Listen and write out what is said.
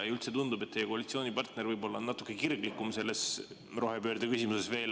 Üldse tundub, et teie koalitsioonipartner on võib‑olla natuke kirglikum rohepöörde küsimuses.